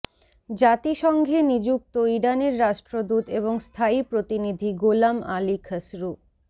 জাতিসংঘে নিযুক্ত ইরানের রাষ্ট্রদূত এবং স্থায়ী প্রতিনিধি গোলাম আলী খসরু